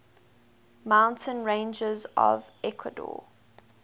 mountain ranges of ecuador